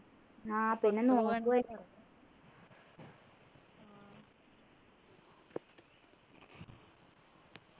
ആഹ് പിന്നെ നോമ്പു അല്ലെ